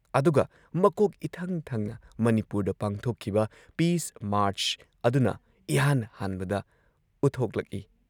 ꯑꯗꯨꯒ ꯃꯀꯣꯛ ꯏꯊꯪ ꯊꯪꯅ ꯃꯅꯤꯄꯨꯔꯗ ꯄꯥꯡꯊꯣꯛꯈꯤꯕ ꯄꯤꯁ ꯃꯥꯔꯆ ꯑꯗꯨꯅ ꯏꯍꯥꯟ ꯍꯥꯟꯕꯗ ꯎꯠꯊꯣꯛꯂꯛꯏ ꯫